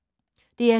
DR2